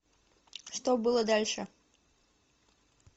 что было дальше